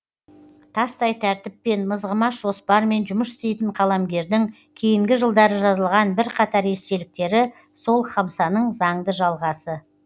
тастай тәртіппен мызғымас жоспармен жұмыс істейтін қаламгердің кейінгі жылдары жазылған бірқатар естеліктері сол хамсаның заңды жалғасы